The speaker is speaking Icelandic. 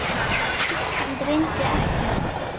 Ísland reyndi ekkert.